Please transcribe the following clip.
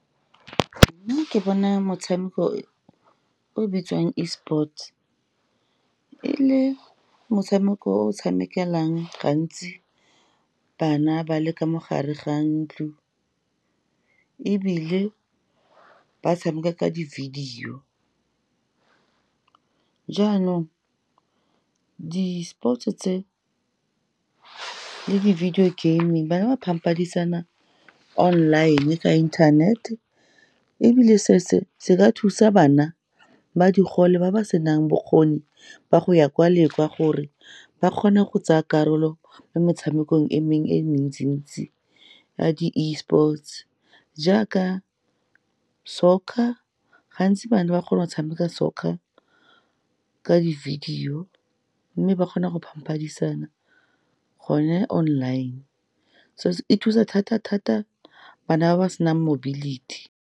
Nna ke bona motshameko o bitsiwang esports, e le motshameko o tshamekelang gantsi bana ba le ka mo gare ga ntlo, ebile ba tshameka ka di-video. Jaanong, di-sports-e tse le di-video gaming, bana ba phadišana online-e ka internet ebile se se ka thusa bana ba digole, ba ba senang bokgoni ba go ya kwa le kwa, gore ba kgone go tsaya karolo mo metshamekong e mengwe e mentsi ntsi ya di esports, jaaka soccer. Gantsi bana ba kgona go tshameka soccer ka di-video, mme ba kgona go phadišana gone online, so e thusa thata-thata bana ba ba senang mobility.